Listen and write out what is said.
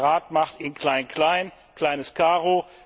Der Rat macht in klein klein, kleines Karo.